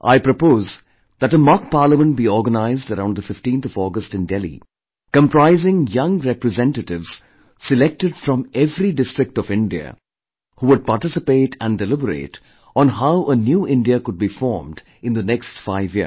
I propose that a mock Parliament be organized around the 15th August in Delhi comprising one young representatives selected from every district of India who would participate and deliberate on how a new India could be formed in the next five years